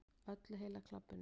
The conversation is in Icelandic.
Öllu heila klabbinu.